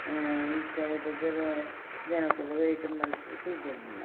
ಹಾ ಈ ಸೈಡ್ ಡು ಜನಕುಲು ವೈಟ್ ಮಲ್ತ್ ಕುಲ್ದೊಂದುಲ್ಲ.